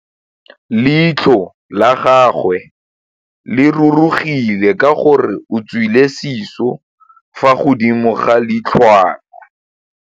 Leitlhô la gagwe le rurugile ka gore o tswile sisô fa godimo ga leitlhwana.